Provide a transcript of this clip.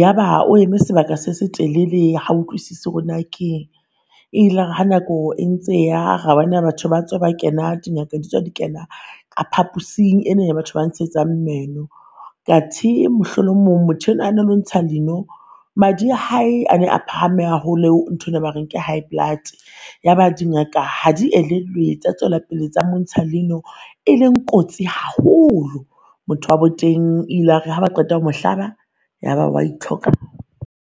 ya ba o eme sebaka se se telele ha o utlwisise hore naa keng. E ilare ha nako e ntse e ya ra bona batho ba tswa ba kena, di Ngaka ditswa di kena ka phapusing ena ya batho ba ntsetsang meno. Kathe mohlo o mong motho yona na no ntsha leino madi a hae a ne a phahame haholo ntho ena ba reng ke high blood. Ya ba di Ngaka ha di elellwe tsa tswela pele tsa montsha leino, e leng kotsi haholo. Motho wa bo teng ilare ha ba qeta ho mo hlaba, ya ba wa e